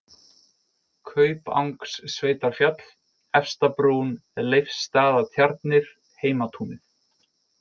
Kaupangssveitarfjall, Efstabrún, Leifsstaðatjarnir, Heimatúnið